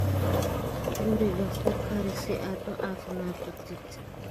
Guriga ku kari si aad u caafimaad qabtid.